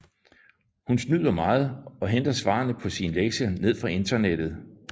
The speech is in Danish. Hun snyder meget og henter svarene på sine lektier ned fra internettet